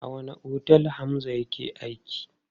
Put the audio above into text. A wanne otel Hamza yake aiki?